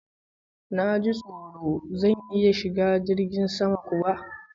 Na ji tsoro! Zan iya shiga jirgin sama kuwa?